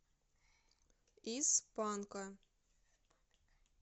из панка